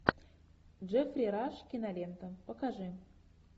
джеффри раш кинолента покажи